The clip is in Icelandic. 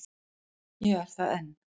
Ég er það enn.